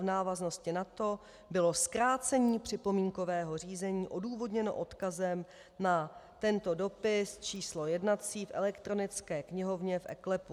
V návaznosti na to bylo zkrácení připomínkového řízení odůvodněno odkazem na tento dopis číslo jednací v elektronické knihovně v eKLEPu.